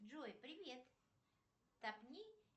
джой привет